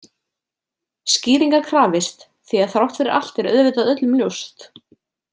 Skýringa krafist Því að þrátt fyrir allt er auðvitað öllum ljóst.